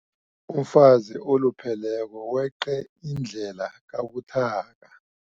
Umfazi olupheleko weqe indlela kabuthaka.